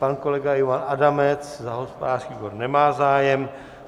Pan kolega Ivan Adamec za hospodářský výbor nemá zájem.